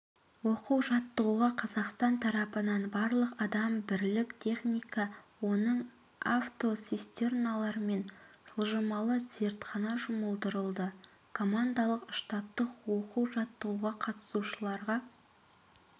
оқу-жаттығуға қазақстан тарапынан барлығы адам бірлік техника оның автоцистерналар мен жылжымалы зертхана жұмылдырылды командалық-штабтық оқу-жаттығуға қатысушыларға